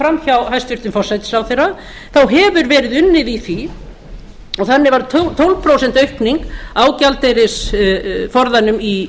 fram hjá hæstvirtum forsætisráðherra þá hefur verið unnið í því og þannig varð tólf prósent aukning á gjaldeyrisforðanum í